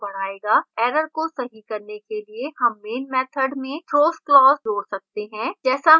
error को सही करने के लिए हम main method में throws clause जोड़ सकते हैं जैसा हमने पहले किया